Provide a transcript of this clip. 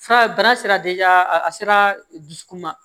Fura bana sera a sera dusukun ma